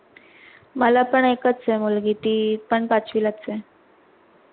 मला पण एकच हे मुलगी ती पण पाचवीलाच आहे.